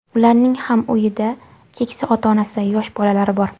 Ularning ham uyida keksa ota-onasi, yosh bolalari bor.